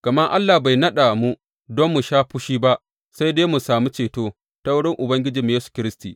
Gama Allah bai naɗa mu don mu sha fushi ba, sai dai mu sami ceto ta wurin Ubangijinmu Yesu Kiristi.